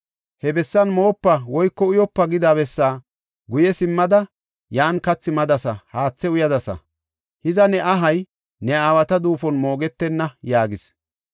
He bessan moopa woyko uyopa’ gida bessaa guye simmada yan kathi madasa; haathe uyadasa. Hiza ne ahay ne aawata duufon moogetenna” yaagis.